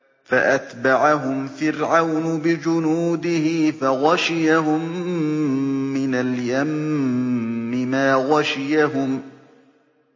فَأَتْبَعَهُمْ فِرْعَوْنُ بِجُنُودِهِ فَغَشِيَهُم مِّنَ الْيَمِّ مَا غَشِيَهُمْ